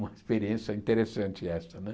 Uma experiência interessante essa, né?